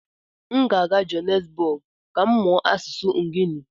M ga-aga Johannesburg ka m mụọ asụsụ Nguni.